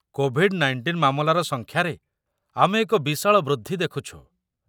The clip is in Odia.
କୋଭିଡ଼୍-୧୯ ମାମଲାର ସଂଖ୍ୟାରେ ଆମେ ଏକ ବିଶାଳ ବୃଦ୍ଧି ଦେଖୁଛୁ।